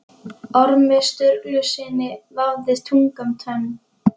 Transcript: Ormi Sturlusyni vafðist tunga um tönn.